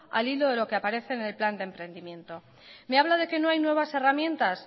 al hilo de lo que aparece en el plan de emprendimiento me habla de que no hay nuevas herramientas